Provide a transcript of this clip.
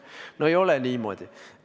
No ei ole niimoodi!